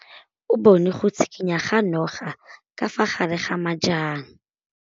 O bone go tshikinya ga noga ka fa gare ga majang.